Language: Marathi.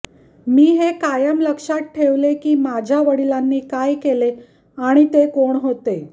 मी हे कायम लक्षात ठेवले की माझ्या वडिलांनी काय केले आणि ते कोण होते